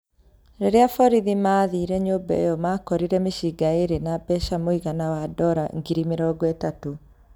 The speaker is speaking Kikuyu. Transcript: Rĩrĩa borithi maathire nyũmba ĩyo makorire mĩcinga ĩrĩ na mbeca mũigana wa ndora ngiri mĩrongo ĩtatũ.